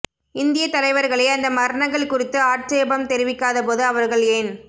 இந்தியத் தலைவர்களே அந்த மரணங்கள் குறித்து ஆட்சேபம் தெரிவிக்காத போது அவர்கள் ஏன்